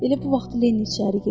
Elə bu vaxt Leni içəri girdi.